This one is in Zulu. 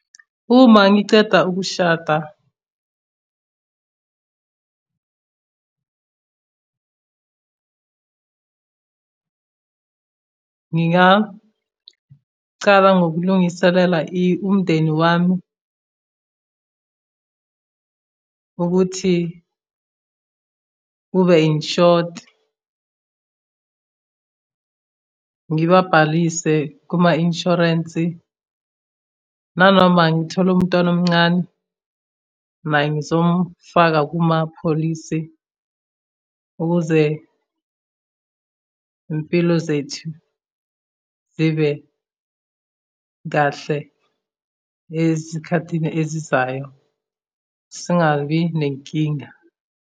Uma ngiceda ukushada ngingacala ngokulungiselela umndeni wami ukuthi ube insured, ngibabhalise kuma-inshwarensi. Nanoma ngithola umntwana omncane naye ngizomfaka kumapholisi ukuze iy'mpilo zethu zibe kahle ezikhathini ezizayo, singabi nenkinga.